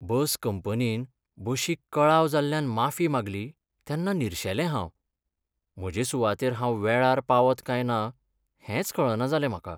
बस कंपनीन बशीक कळाव जाल्ल्यान माफी मागली तेन्ना निरशेलें हांव. म्हजे सुवातेर हांव वेळार पावत काय ना हेंच कळना जालें म्हाका.